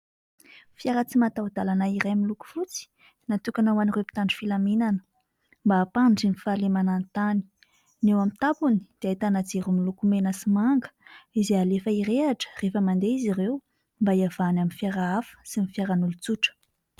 Fiara tsy mataho-dàlana iray miloko fotsy, natokana ho an'ireo mpitandro filaminana mba hampandry ny fahalemana ny tany. Ny eo amin'ny tampony dia ahitana jiro miloko mena sy manga izay alefa hirehatra rehefa mandeha izy ireo mba hiavahany amin'ny fiara hafa sy ny fiaran'olon-tsotra.